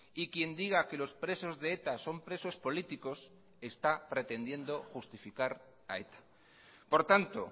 y quien diga que los presos de eta son presos políticos está pretendiendo justificar a eta por tanto